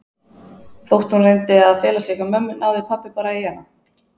Þótt hún reyndi að fela sig hjá mömmu náði pabba bara í hana.